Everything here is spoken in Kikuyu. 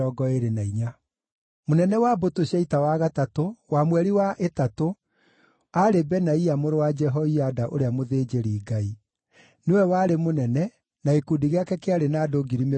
Mũnene wa mbũtũ cia ita wa gatatũ, wa mweri wa ĩtatũ aarĩ Benaia mũrũ wa Jehoiada ũrĩa mũthĩnjĩri-Ngai. Nĩwe warĩ mũnene, na gĩkundi gĩake kĩarĩ na andũ 24,000.